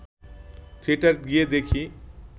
theatre গিয়ে দেখি